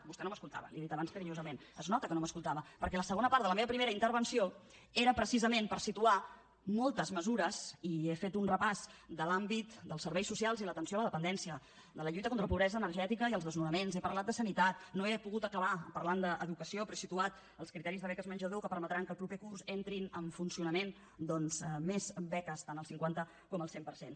vostè no m’escoltava li ho he dit abans carinyosament es nota que no m’escoltava perquè la segona part de la meva primera intervenció era precisament per situar moltes mesures i he fet un repàs de l’àmbit dels serveis socials i l’atenció a la dependència de la lluita contra la pobresa energètica i els desnonaments he parlat de sanitat no he pogut acabar parlant d’educació però he situat els criteris de beques menjador que permetran que el proper curs entrin en funcionament doncs més beques tant al cinquanta com al cent per cent